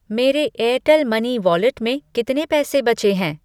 मेरे Airtel money wallet में कितने पैसे बचे हैं?